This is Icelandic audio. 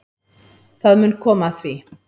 Það mun koma að því.